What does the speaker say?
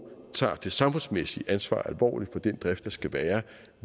tager det samfundsmæssige ansvar alvorligt for den drift der skal være